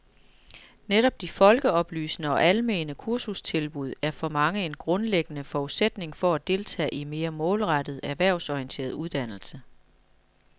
Netop de folkeoplysende og almene kursustilbud er for mange en grundlæggende forudsætning for at deltage i mere målrettet, erhvervsorienteret uddannelse.